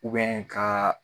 ka.